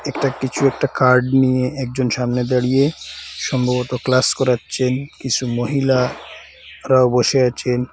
একটা কিছু একটা কার্ড নিয়ে একজন সামনে দাঁড়িয়ে সম্ভবত ক্লাস করাচ্ছেন কিছু মহিলা তারাও বসে আছেন।